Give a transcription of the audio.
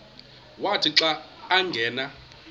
wathi xa angena